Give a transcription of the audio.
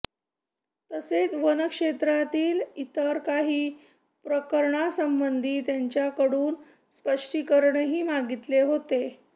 तसेच वनक्षेत्रातील इतर काही प्रकरणासंबंधी त्यांच्याकडून स्पष्टीकरणही मागितले होते